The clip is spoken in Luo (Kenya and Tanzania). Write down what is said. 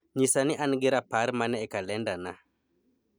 nyisa ni an gi rapar mane e kalendana